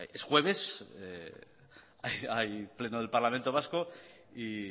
es jueves y hay pleno del parlamento vasco y